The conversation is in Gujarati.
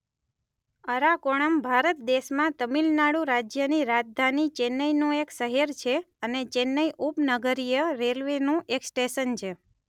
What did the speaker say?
અરાકોણમ ભારત દેશમાં તમિલનાડુ રાજ્યની રાજધાની ચેન્નઈનું એક શહેર છે અને ચેન્નઈ ઉપનગરીય રેલવેનું એક સ્ટેશન છે.